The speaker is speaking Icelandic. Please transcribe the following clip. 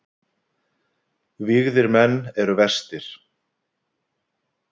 Vígðir menn eru verstir.